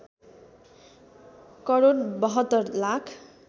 crore ७२ lakh